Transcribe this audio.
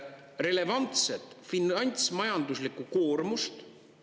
Relevantset finantsmajanduslikku koormust …